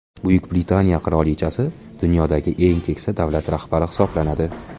Buyuk Britaniya qirolichasi dunyodagi eng keksa davlat rahbari hisoblanadi.